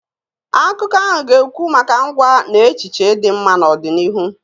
Akụkọ ahụ ga-ekwu maka ngwa na echiche dị mma n'ọdịnihu.